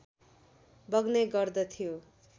बग्ने गर्दथियो